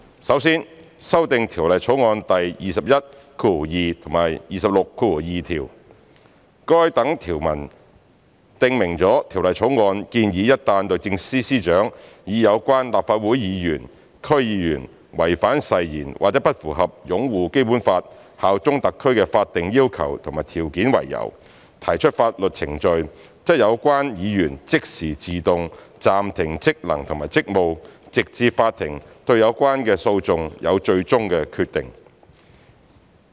首先，修訂《條例草案》第212及262條，該等條文訂明了《條例草案》建議一旦律政司司長以有關立法會議員/區議員違反誓言或不符合"擁護《基本法》、效忠特區"的法定要求和條件為由，提出法律程序，則有關議員即時自動暫停職能和職務，直至法庭對有關的訴訟有最終決定。